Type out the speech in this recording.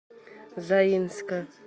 заинска